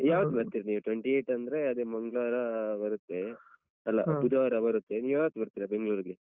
ಯಾವತ್ ಬರ್ತೀರಿ twenty-eighth ಅಂದ್ರೆ ಅದೇ ಮಂಗ್ಳವಾರ ಬರುತ್ತೆ. ಬುಧವಾರ ಬರುತ್ತೆ, ನೀವ್ ಯಾವಾಗ ಬರ್ತೀರಾ ಬೆಂಗ್ಳೂರ್ಗೆ?